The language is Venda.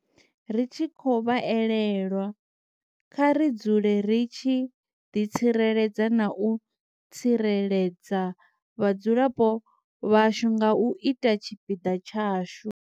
Ri tshi khou vha elelwa kha ri dzule ri tshi ḓitsireledza na u tsireledza vhadzulapo vhashu nga u ita tshipiḓa tshashu.